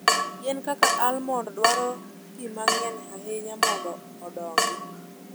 Yien kaka almond dwaro pi mang'eny ahinya mondo odongi.